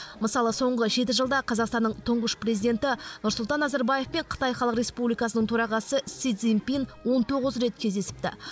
мысалы соңғы жеті жылда қазақстанның тұңғыш президенті нұрсұлтан назарбаев пен қытай халық республикасының төрағасы си цзиньпин он тоғыз рет кездесіпті